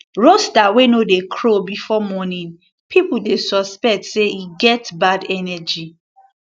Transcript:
rooster wey no dey crow before morning people dey suspect say e get bad energy